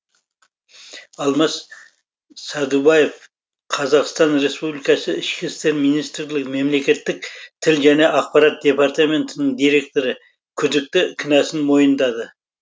алмас сәдубаев қазақстан республикасы ішкі істер министрлігі мемлекеттік тіл және ақпарат департаментінің директоры күдікті кінәсін мойындады